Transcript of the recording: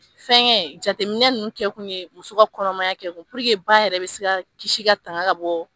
Fɛnkɛ jateminɛ ninnu kɛ kun ye muso ka kɔnɔmaya kɛ ba yɛrɛ bɛ se ka kisi ka tanga bɔ